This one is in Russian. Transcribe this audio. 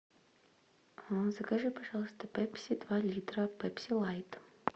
закажи пожалуйста пепси два литра пепси лайт